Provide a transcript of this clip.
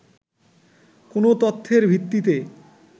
কোন তথ্যের ভিত্তিতে